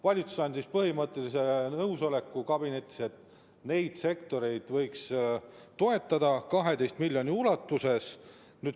Valitsus andis kabinetis põhimõttelise nõusoleku, et neid sektoreid võiks toetada 12 miljoniga.